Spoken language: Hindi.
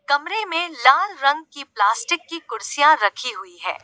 कमरे में लाल रंग की प्लास्टिक की कुर्सियां रखी हुई है।